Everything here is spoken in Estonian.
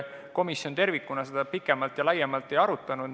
Komisjon tervikuna seda pikemalt ja laiemalt ei arutanud.